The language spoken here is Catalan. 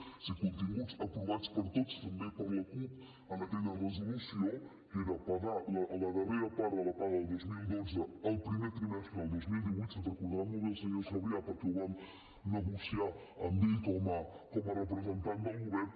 o sigui continguts aprovats per tots també per la cup en aquella resolució que era pagar la darrera part de la paga del dos mil dotze el primer trimestre del dos mil divuit se’n deu recordar molt bé el senyor sabrià perquè ho vam negociar amb ell com a representant del govern